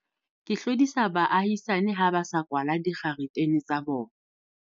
ke hlodisa baahisani ha ba sa kwala dikgaretene tsa bona.